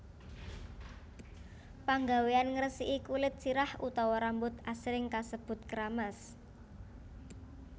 Panggawéan ngresiki kulit sirah utawa rambut asring kasebut kramas